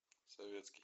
советский